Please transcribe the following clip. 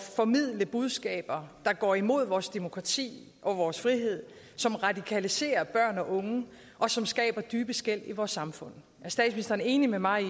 formidle budskaber der går imod vores demokrati og vores frihed som radikaliserer børn og unge og som skaber dybe skel i vores samfund er statsministeren enig med mig i